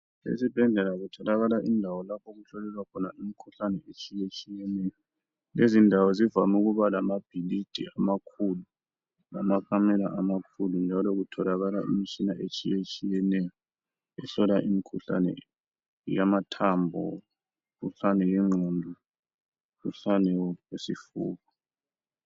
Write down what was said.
Ezibhedlela kutholakala indawo lapho okuhlolelwa khona imkhuhlane etshiyetshiyeneyo. Lezindawo zivame ukuba lamabhilidi amakhulu, lamakamelo amakhulumu njalo kutholakala imtshina etshiyetshiyeneyo ,ehlola imkhuhlane yamathambo, umkhuhlane lengqondo, umkhuhlane wesifuba.